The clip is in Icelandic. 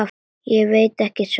Ég veit ekki svarið.